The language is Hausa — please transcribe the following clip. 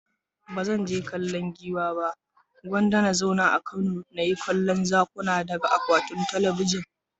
Ba zan je kallon Giwa ba, Gwanda na zauna a Kano na yi ta kallon Zakuna daga akwatun talabijin.